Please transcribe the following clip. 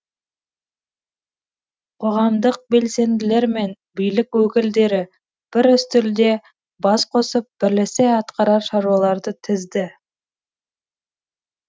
қоғамдық белсенділер мен билік өкілдері бір үстелде бас қосып бірлесе атқарар шаруаларды тізді